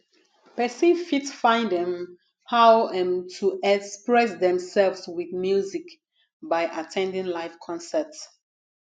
person fit find um how um to express themselves with music by at ten ding live concert